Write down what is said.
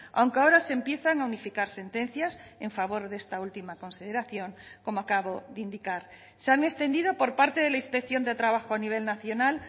aunque ahora se empiezan a unificar sentencias en favor de esta última consideración como acabo de indicar se han extendido por parte de la inspección de trabajo a nivel nacional